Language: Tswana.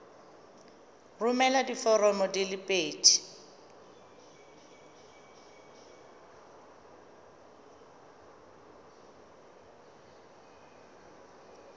romela diforomo di le pedi